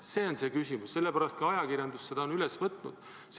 See on see küsimus ja sellepärast on ka ajakirjandus selle üles võtnud.